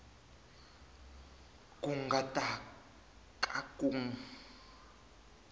ku nga ta ka ku